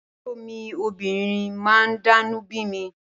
Àbúrò mi obìnrin máa ń dánú bími